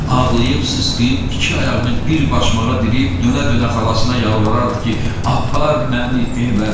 Ağlayıb sısqıyıb, iki ayağını bir başmağa dirəyib, dönə-dönə xalasına yalvarardı ki, apar məni evə.